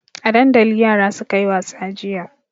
A dandali yara suka yi wasa jiya.